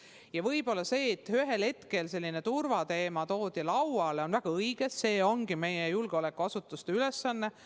Ja võib-olla see, et ühel hetkel turvateema lauale toodi, on väga õige, see ongi meie julgeolekuasutuste ülesanne.